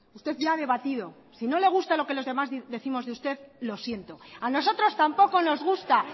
usted ya ha debatido si no le gusta lo que los demás décimos de usted lo siento a nosotros tampoco nos gusta